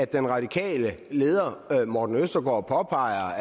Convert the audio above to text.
den radikale leder herre morten østergaard påpeger